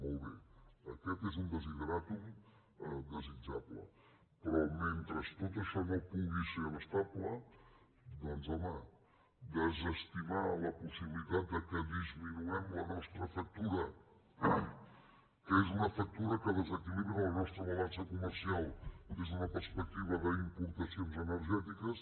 molt bé aquest és un desideràtum desitjable però mentre tot això no pugui ser abastable doncs home desestimar la possibilitat que disminuïm la nostra factura que és una factura que desequilibra la nostra balança comercial des d’una perspectiva d’importacions energètiques